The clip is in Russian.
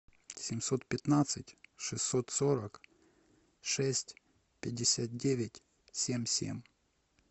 семьсот пятнадцать шестьсот сорок шесть пятьдесят девять семь семь